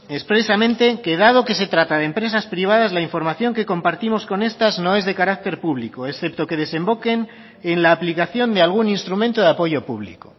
expresamente que dado que se trata de empresas privadas la información que compartimos con estas no es de carácter público excepto que desemboquen en la aplicación de algún instrumento de apoyo público